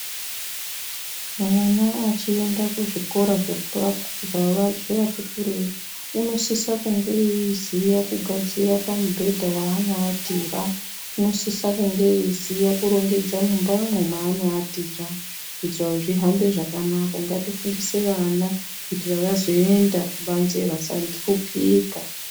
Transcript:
Vana vachienda kuzvikora zvevatikureyi ,unosisa kunge eyiziva kugadzira pamubhedza waano watira ,unosisa kunge eyiziya kurongedza mumba umumaanowatira kuitira kuti zvihambe zvakanaka. Ngatifundise vana kuitira vazoenda kubanze vasahlupika.